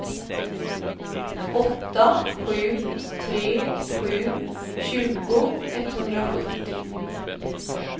åtta sju tre sju tjugo etthundrasjuttio